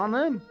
Xanım!